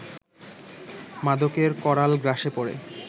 মাদকের করাল গ্রাসে পড়ে